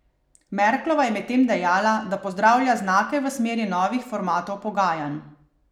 Merklova je medtem dejala, da pozdravlja znake v smeri novih formatov pogajanj.